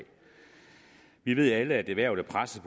vi ved alle at erhvervet er presset